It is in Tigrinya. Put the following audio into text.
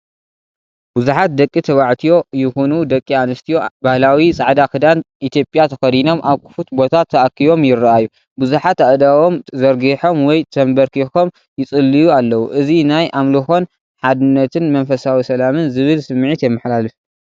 ብዙሓት ደቂ ተባዕትዮ ይኹኑ ደቂ ኣንስትዮ ባህላዊ ጻዕዳ ክዳን ኢትዮጵያ ተኸዲኖም ኣብ ክፉት ቦታ ተኣኪቦም ይረኣዩ። ብዙሓት ኣእዳዎም ዘርጊሖም ወይ ተንበርኪኾም ይጽልዩ ኣለዉ። እዚ ናይ ኣምልኾን ሓድነትን መንፈሳዊ ሰላምን ዝብል ስምዒት የመሓላልፍ።